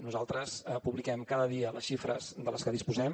nosaltres publiquem cada dia les xifres de les que disposem